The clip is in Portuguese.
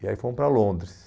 E aí fomos para Londres.